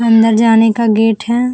अंदर जाने का गेट है।